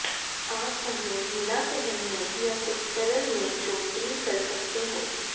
आप उन्हें ढीला पहनने या कुछ सरल में चोटी कर सकते हैं